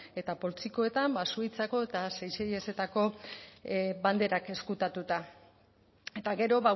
eta poltsikoetan suitzako eta seychellesetako banderak ezkutatuta eta gero